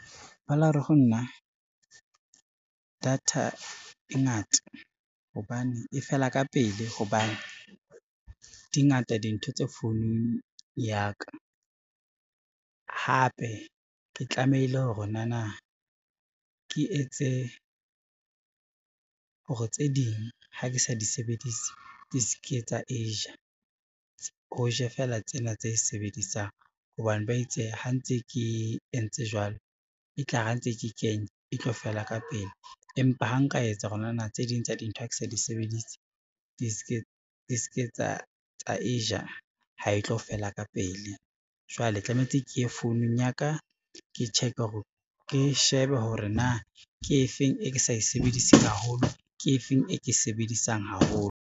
Ba la re ho nna data e fela ka pele hobane di ngata dintho tse founung ya ka, hape ke tlamehile hore nana ke etse hore tse ding ha ke sa di sebedise, di se ke tsa e ja ho ja fela tsena tse sebedisang hobane ba itse ha ntse ke entse jwalo e tla re ha ntse ke kenya e tlo fela ka pele empa ha nka etsa hore nana tse ding tsa dintho ha ke sa di sebedise di se ke tsa e ja ha e tlo fela ka pele. Jwale tlametse ke ye founung ya ka, ke shebe hore na ke efeng e ke sa e sebediseng haholo, ke efeng e ke sebedisang haholo.